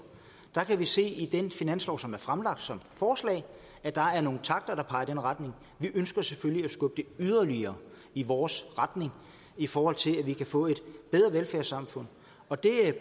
der kan vi se i den finanslov som er fremlagt som forslag at der er nogle takter der peger i den retning vi ønsker selvfølgelig at skubbe det yderligere i vores retning i forhold til at vi kan få et bedre velfærdssamfund og det